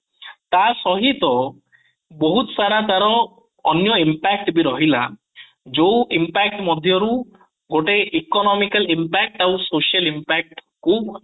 ତା ସହିତ ବହୁତ ସାରା ତାର ଅନ୍ୟ impact ବି ରହିଲା ଯୋଉ impact ମଧ୍ୟ ରୁ ଗୋଟେ economical impact ଆଉ social impact କୁ